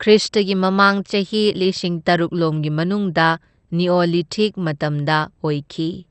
ꯈ꯭ꯔꯤꯁꯇꯒꯤ ꯃꯃꯥꯡ ꯆꯍꯤ ꯂꯤꯁꯤꯡ ꯇꯔꯨꯛꯂꯣꯝꯒꯤ ꯃꯅꯨꯡꯗ ꯅꯤꯑꯣꯂꯤꯊꯤꯛ ꯃꯇꯝꯗ ꯑꯣꯏꯈꯤ꯫